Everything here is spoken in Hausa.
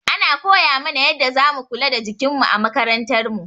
Ana koya mana yanda za mu kula da jikin mu a makarantar mu.